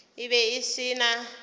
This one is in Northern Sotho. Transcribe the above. e be e se na